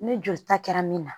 Ni joli ta kɛra min na